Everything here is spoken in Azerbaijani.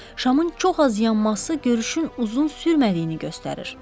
Şamın çox az yanması görüşün uzun sürmədiyini göstərir.